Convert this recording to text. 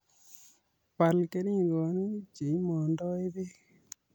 Bal keringonik che imondoi beek